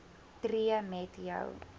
tree met jou